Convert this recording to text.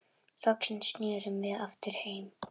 Loksins snerum við aftur heim.